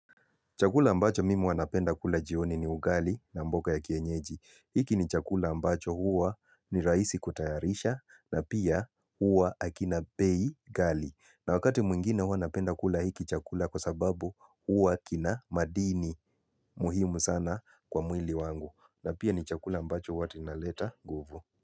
Chakula ambacho mimi huwa napenda kula jioni ni ugali na mboga ya kienyeji. Hiki ni chakula ambacho huwa ni rahisi kutayarisha na pia huwa hakina bei ghali. Na wakati mwingine huwa napenda kula hiki chakula kwa sababu huwa kina madini muhimu sana kwa mwili wangu. Na pia ni chakula ambacho huwa kinaleta guvu.